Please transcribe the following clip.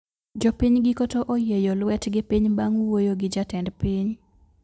Jopiny giko to oyieyo lwetgi piny bang` wuoyo gi jatend piny